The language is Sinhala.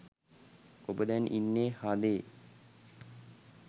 ඔබ දැන් ඉන්නේ හදේ